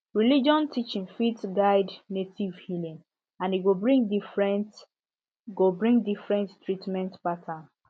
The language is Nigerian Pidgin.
religion teaching fit guide native healing and e go bring different go bring different treatment pattern